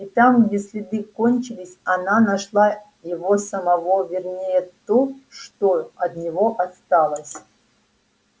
и там где следы кончились она нашла его самого вернее то что от него осталось